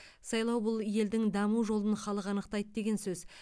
сайлау бұл елдің даму жолын халық анықтайды деген сөз